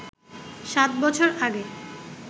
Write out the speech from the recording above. সাত বছর আগে